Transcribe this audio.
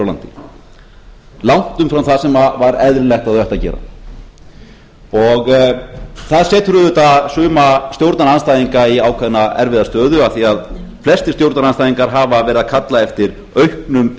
landi langt umfram það sem var eðlilegt að þau ættu að gera það setur auðvitað suma stjórnarandstæðinga í ákveðna erfiða stöðu af því að flestir stjórnarandstæðingar hafa verið að kalla eftir auknum